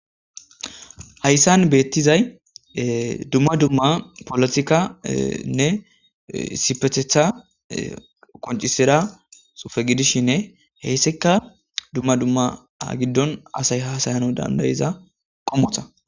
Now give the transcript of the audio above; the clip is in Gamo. hayssan beettizay dumma dumma polotikanne sipethetha koncisira sufe gidishinne heyssekka dumma dumma a giddon asay hasayana dandayiza qomota